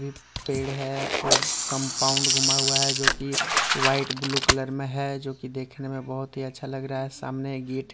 पेड़ है और कंपाउंड घुमा हुआ है जो की वाइट ब्लू कलर में है जोकि देखने में बहुत ही अच्छा लग रहा है सामने एक गेट है।